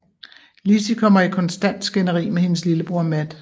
Lizzie kommer i konstant skænderi med hendes lillebror Matt